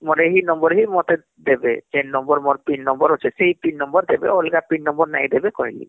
ମୋର ଏହି number ହିଁ ମତେ ଦେବେ ଯେନ number ମୋର pin number ଅଛେସେଇ pin number ଦେବେ ଅଲଗା pin number ନାଇଁ ଦେବେ କହିଲି